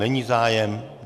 Není zájem.